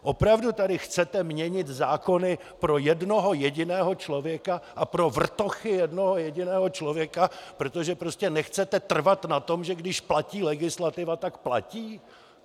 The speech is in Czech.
Opravdu tady chcete měnit zákony pro jednoho jediného člověka a pro vrtochy jednoho jediného člověka, protože prostě nechcete trvat na tom, že když platí legislativa, tak platí?